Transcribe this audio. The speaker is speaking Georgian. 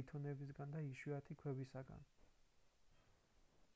ლითონებისგან და იშვიათი ქვებისგან